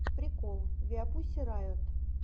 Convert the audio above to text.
прикол виапуссирайот